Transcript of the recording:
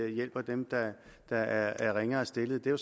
hjælper dem der der er ringere stillet det er